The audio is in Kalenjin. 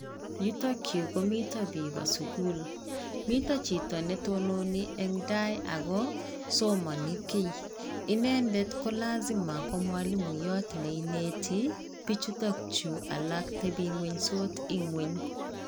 Yuktokyu komito bikoo sukul, mito chito netononi eng tai ako somani kiy. Inendet ko lazima komwalimuyot neineti bichuto chu alak tebingwenysot ing'ony.